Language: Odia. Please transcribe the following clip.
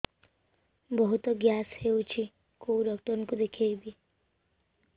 ବହୁତ ଗ୍ୟାସ ହଉଛି କୋଉ ଡକ୍ଟର କୁ ଦେଖେଇବି